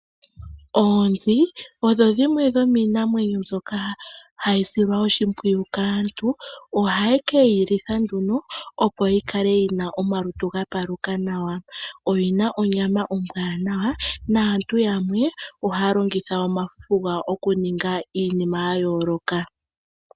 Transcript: Oonzi odho dhimwe dhomiinamwenyo mbyoka hayi silwa oshimpwiyu kaantu, ohaye kedhi litha nduno, opo dhikale ya paluka nawa komalutu, odhiina onyama ombwanawa yo aantu yamwe ohaya longitha omafufu gadho oku ninga iinima ya yooloka.